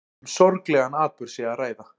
Um sorglegan atburð sé að ræða